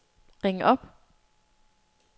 ring op